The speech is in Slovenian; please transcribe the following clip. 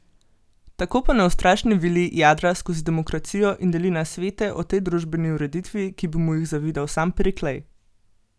Tako pa neustrašni Vili jadra skozi demokracijo in deli nasvete o tej družbeni ureditvi, ki bi mu jih zavidal sam Periklej!